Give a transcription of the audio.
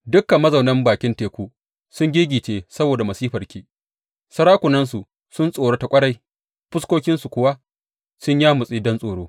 Dukan mazaunan bakin teku sun giggice saboda masifarki; sarakunansu sun tsorata ƙwarai fuskokinsu kuwa sun yamutse don tsoro.